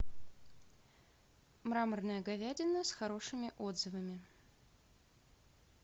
мраморная говядина с хорошими отзывами